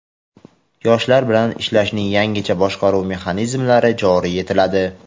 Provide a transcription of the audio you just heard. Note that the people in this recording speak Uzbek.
Yoshlar bilan ishlashning yangicha boshqaruv mexanizmlari joriy etiladi.